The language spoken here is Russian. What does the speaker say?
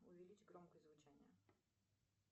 увеличь громкость звучания